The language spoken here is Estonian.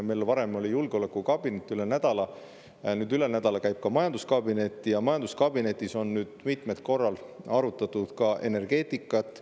Meil oli varem julgeolekukabinet üle nädala, üle nädala käib koos ka majanduskabinet ja majanduskabinetis on mitmel korral arutatud ka energeetikat.